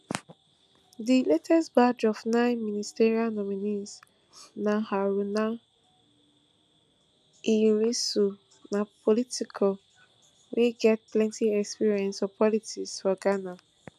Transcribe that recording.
di latest batch of nine ministerial nominees na haruna iddrisu na politician wey get plenti experience for politics for ghana